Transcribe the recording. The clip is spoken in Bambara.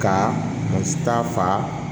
Ka taa fa